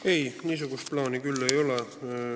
Ei, niisugust plaani küll ei ole.